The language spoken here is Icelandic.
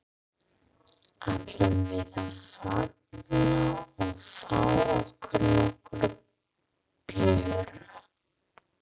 Ætlum við að fagna og fá okkur nokkra bjóra?